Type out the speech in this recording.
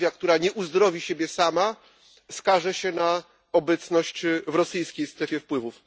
Mołdawia, która nie uzdrowi siebie sama, skaże się na obecność w rosyjskiej strefie wpływów.